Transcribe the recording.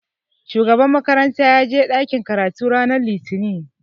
Shugaban makaranta ya je ɗakin karatu ranar Litinin